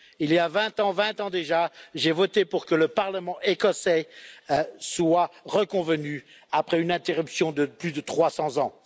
Il y a 20 ans, 20 ans déjà, j'ai voté pour que le parlement écossais se réunisse à nouveau après une interruption de plus de 300 ans